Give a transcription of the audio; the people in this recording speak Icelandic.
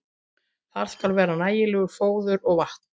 Þar skal vera nægilegt fóður og vatn.